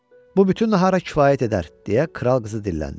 Bu bütün nahara kifayət edər, deyə kral qızı dilləndi.